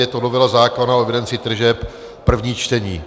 Je to novela zákona o evidenci tržeb, první čtení.